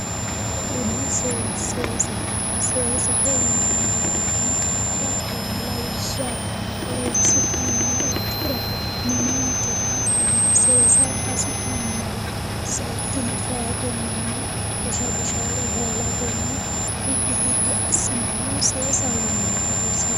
Kuni seesaho seesaho yinay woytenno hatto lawishsha horosi'numoha ikkiro minenike hattono seesara hasi'numoro seekkine feyatennina Busha bushaate hoolatenni biddi biddi assinannihu seesasho yinanni hagirisiisanno